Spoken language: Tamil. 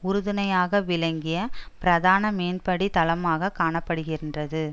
உறுதுணையாக விளங்கிய பிரதான மீன்பிடி தளமாக காண படுகின்றது